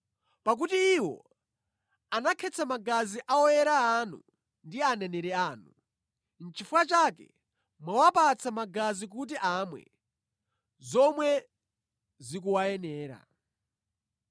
pakuti iwo anakhetsa magazi a oyera anu ndi aneneri anu, nʼchifukwa chake mwawapatsa magazi kuti amwe, zomwe zikuwayenera.”